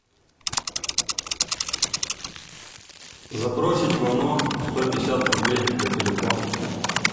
забросить вано сто пятьдесят рублей на телефон